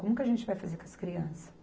Como que a gente vai fazer com as crianças?